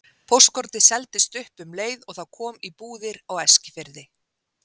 Póstkortið seldist upp um leið og það kom í búðir á Eskifirði.